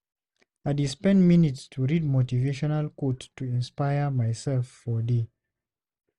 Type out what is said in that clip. I dey spend few minutes to read motivational quotes to inspire myself for day.